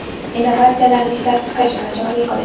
innovatsiyalarni ishlab chiqish va joriy qilish;.